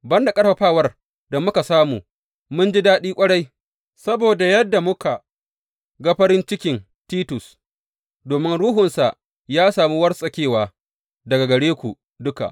Ban da ƙarfafawar da muka samu, mun ji daɗi ƙwarai saboda yadda muka ga farin cikin Titus, domin ruhunsa ya sami wartsakewa daga gare ku duka.